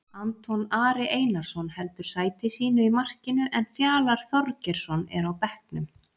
Anton Ari Einarsson heldur sæti sínu í markinu en Fjalar Þorgeirsson er á bekknum.